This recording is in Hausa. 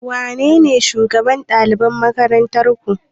Wanene shugaban ɗalibai a makarantarku?